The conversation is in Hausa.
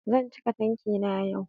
Zan cika tanki na yau